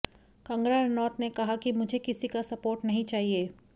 कंगना रनौत ने कहा कि मुझे किसी का सपोर्ट नहीं चाहिए